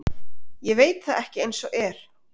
Ég veit það ekki eins og er.